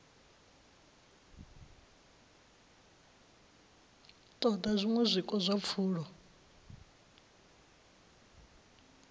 ṱoḓa zwiṅwe zwiko zwa pfulo